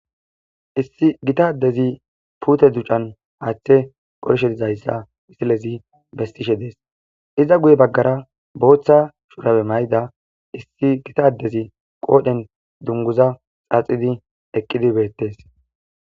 Issi Gita adezi puute ducan haathe qolishe dizaysa musilezi besishe Des. Iza guye bagara issi Bootha shurabe mayida issi Gita adezi qodhen dunguza xaaxid eqidi betes.